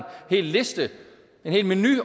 hel liste en helt menu